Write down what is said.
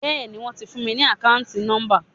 Bẹ́ẹ̀ni wón ti fún mi ní akanti nomba.